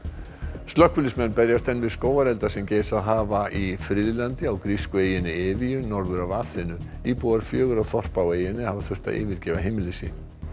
slökkviliðsmenn berjast enn við skógarelda sem geisað hafa í friðlandi á grísku eyjunni norður af Aþenu íbúar fjögurra þorpa á eyjunni hafa þurft að yfirgefa heimili sín